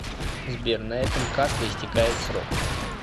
сбер на этом карты истекает срок